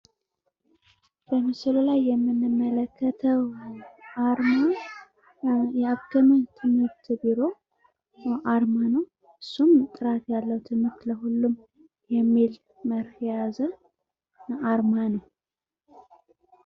በምስሉ ላይ የምንመለከተው አርማ የአማራ ክልል ትምህርት ቢሮ አርማ ነው እሱም ጥራት ያለው ትምህርት ለሁሉም የሚል መርህ የያዘ አርማ ነው።